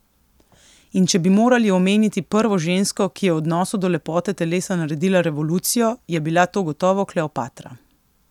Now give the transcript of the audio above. In če bi morali omeniti prvo žensko, ki je v odnosu do lepote telesa naredila revolucijo, je bila to gotovo Kleopatra.